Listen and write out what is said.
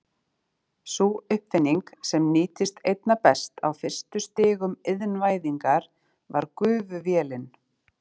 Sú uppfinning sem nýttist einna best á fyrstu stigum iðnvæðingar var gufuvélin.